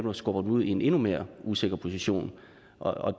at skubbe dem ud i en endnu mere usikker position